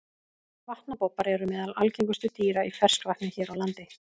Vatnabobbar eru meðal algengustu dýra í ferskvatni hér á landi.